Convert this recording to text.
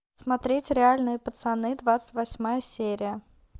смотреть реальные пацаны двадцать восьмая серия